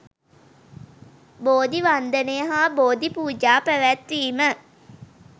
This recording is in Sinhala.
බෝධි වන්දනය හා බෝධි පූජා පැවැත්වීම